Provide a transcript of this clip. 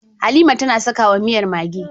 Halima tAna saka wa miyar maggi